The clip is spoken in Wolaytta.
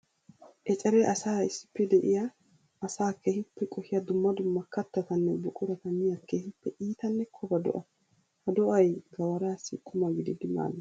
Eceree asaara issppe de'iya asaa keehippe qohiya dumma dumma katattanne buqurata miya keehippe iittanne kobba do'a. Ha do'ay gawarassi qumma gididdi maades.